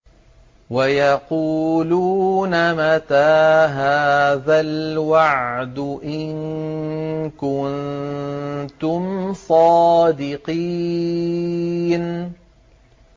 وَيَقُولُونَ مَتَىٰ هَٰذَا الْوَعْدُ إِن كُنتُمْ صَادِقِينَ